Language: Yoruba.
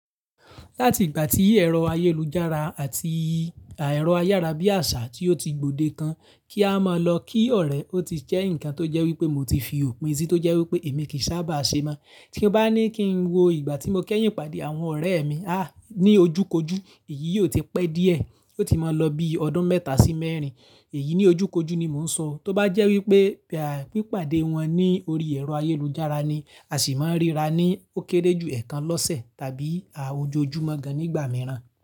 Láti ìgbà tí ẹ̀rọ ayélujára àti ẹ̀rọ ayára bí àṣá tí ó ti gbòdekan kí a máa lọ kí ọ̀rẹ́, ó ti jẹ́ ǹkan tó jẹ́ wípé mo ti fi òpin sí tó jẹ́ wípé èmi kì í sábà ṣe mọ́. Tí mo bá ní kí n wo ìgbà tí mo kẹ́yìn pàdé àwọn ọ̀rẹ́ mi, aà, ní ojúkójú èyí yóò ti pẹ́ díẹ̀, yóò ti máa lọ bí ọdún mẹ́ta sí mẹ́rin. Èyí ní ojúkójú ni mò ń sọ. Tó bá jẹ́ wípé bí ìpàdé wọn ní orí ẹ̀rọ ayélujára ni, a sì máa ríra ní ó kéré jù ẹ̀kan lọ́sẹ̀ tàbí a ojú ojúmọ́ gan nígbà mìíràn.